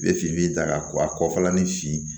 N bɛ fini ta ka kɔfalani si